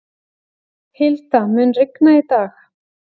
Hilda, mun rigna í dag?